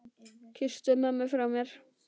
Kysstu mömmu frá mér.